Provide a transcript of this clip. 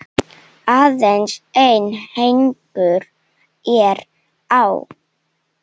Aðeins einn hængur er á.